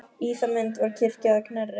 Í það mund var kirkja að Knerri.